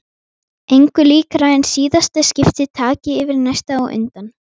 Engu líkara en síðasta skipti taki yfir næsta á undan.